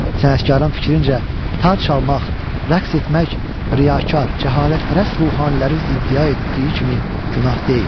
Sənətkarın fikrincə, tar çalmaq, rəqs etmək riyakar, cəhalətpərəst ruhanilərin iddia etdiyi kimi günah deyil.